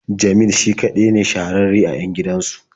Jamil shi kaɗai ne shahararre a 'yan gidansu.